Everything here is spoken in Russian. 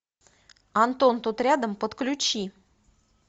антон тут рядом подключи